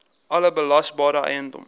alle belasbare eiendom